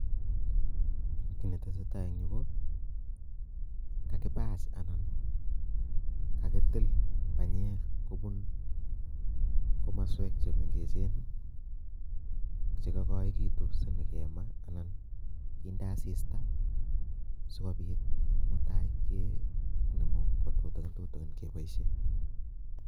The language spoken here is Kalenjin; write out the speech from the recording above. Kiit ne tesetai eng yu ko kakipach anan kakitil panyek komong komaswek che mengechen che kakoikitu sinyeke maa anan kinde asista sikopit mutai kenemu ko tutigin tutigin kepoishe.